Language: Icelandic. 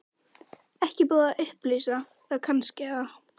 Heimir: Ekki búið að upplýsa það kannski, eða?